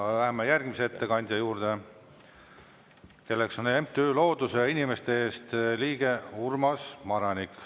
Ja läheme järgmise ettekandja juurde, kelleks on MTÜ Looduse ja Inimeste Eest liige Urmas Maranik.